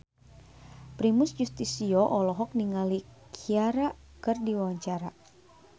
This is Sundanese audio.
Primus Yustisio olohok ningali Ciara keur diwawancara